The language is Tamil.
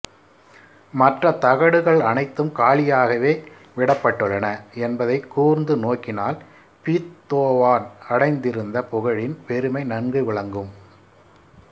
மற்ற தகடுகள் அனைத்தும் காலியாகவே விடப்பட்டுள்ளன என்பதை கூர்ந்து நோக்கினால் பீத்தோவான் அடைந்திருந்த புகழின் பெருமை நன்கு விளங்கும்